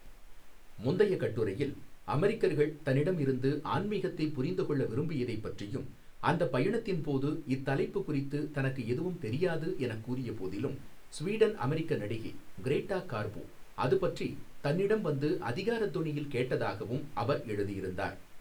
முந்தைய கட்டுரையில், அமெரிக்கர்கள் தன்னிடமிருந்து ஆன்மீகத்தைப் புரிந்துகொள்ள விரும்பியதைப் பற்றியும் அந்தப் பயணத்தின் போது இத்தலைப்பு குறித்து தனக்கு எதுவும் தெரியாது எனக் கூறியபோதிலும் சுவீடன் அமெரிக்க நடிகை கிரேட்டா கார்போ அதுபற்றி தன்னிடம் வந்து அதிகாரத் தொனியில் கேட்டதாகவும் அவர் எழுதியிருந்தார்.